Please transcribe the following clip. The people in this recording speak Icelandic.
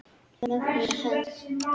Mögnuð hönd.